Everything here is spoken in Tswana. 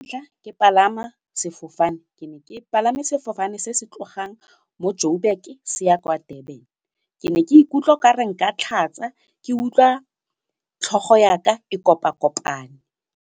ke palama sefofane ke ne ke palame sefofane se se tlogang mo Joburg se ya kwa Durban ke ne ke ikutlwa nkare nka tlhatsa ke utlwa tlhogo yaka e kopakopane.